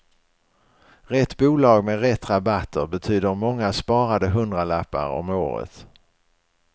Rätt bolag med rätt rabatter betyder många sparade hundralappar om året.